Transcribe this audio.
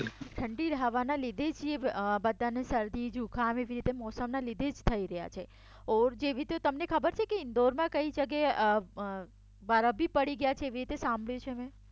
ઠંડી હવાને લીધે જ બધાને શરદી જુંખામ એવી રીતે મોસમના લીધે જ થઈ રહ્યા છે તમને ખબર છે કે ઈન્દોરમાં કઈ જગ્યાએ બરફ બી પડી ગયા છે એવી રીતે સાંભર્યું છે મે